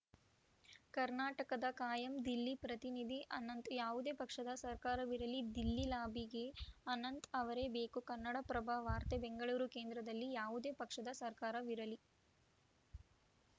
ಕರ್ನಾಟಕದ ಕಾಯಂ ದಿಲ್ಲಿ ಪ್ರತಿನಿಧಿ ಅನಂತ್‌ ಯಾವುದೇ ಪಕ್ಷದ ಸರ್ಕಾರವಿರಲಿ ದಿಲ್ಲಿ ಲಾಬಿಗೆ ಅನಂತ್‌ ಅವರೇ ಬೇಕು ಕನ್ನಡಪ್ರಭ ವಾರ್ತೆ ಬೆಂಗಳೂರು ಕೇಂದ್ರದಲ್ಲಿ ಯಾವುದೇ ಪಕ್ಷದ ಸರ್ಕಾರವಿರಲಿ